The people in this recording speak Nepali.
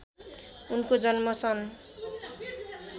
उनको जन्म सन्